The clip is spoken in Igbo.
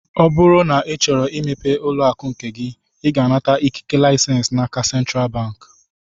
Ọ bụrụ na ị chọrọ imepe ụlọakụ nke gị, ị ga-anata ikike lisens n'aka sentral bank